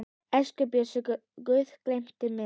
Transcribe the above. Elsku Bjössi, Guð geymi þig.